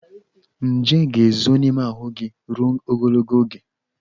Nje ga-ezo n'ime ahụ gị ruo ogologo oge.